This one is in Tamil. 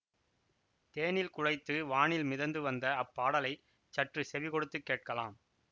தேனில் குழைத்து வானில் மிதந்து வந்த அப்பாடலைச் சற்று செவி கொடுத்துச் கேட்கலாம்